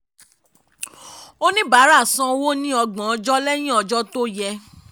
oníbàárà sanwó ní ọgbọ̀n ọjọ́ lẹ́yìn ọjọ́ tó yẹ.